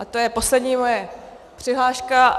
A to je poslední moje přihláška.